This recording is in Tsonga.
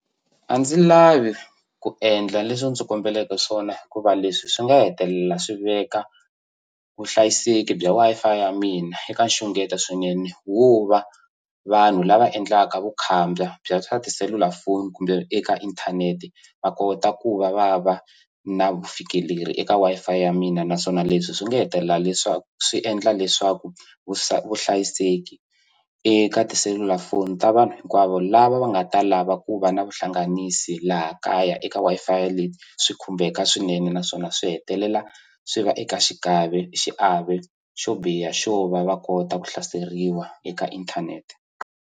A ndzi lavi ku endla leswi u ndzi kombeleke swona hikuva leswi swi nga hetelela swi veka vuhlayiseki bya Wi-Fi ya mina eka nxungeto swinene wo va vanhu lava endlaka vukhamba bya swa tiselulafoni kumbe eka inthanete va kota ku va va na vufikeleri eka Wi-Fi ya mina naswona leswi swi nga hetelela leswaku swi endla leswaku vuhlayiseki eka tiselulafoni ta vanhu hinkwavo lava va nga ta lava ku va na vuhlanganisi laha kaya eka Wi-Fi leyi swi khumbeka swinene naswona swi hetelela swi va eka xiave xo biha xo va va kota ku hlaseriwa eka inthanete.